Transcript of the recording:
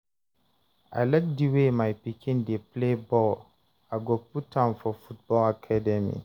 I like di way my pikin dey play ball, I go put am for football academy